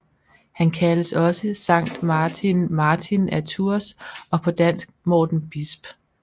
Han kaldes også Sankt Martin Martin af Tours og på dansk Morten Bisp